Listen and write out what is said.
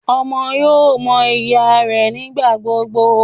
Ọmọ yóò mọ ìyá rẹ nigbagbogbo